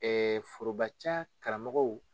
Ɛɛ foroba ca karamɔgɔw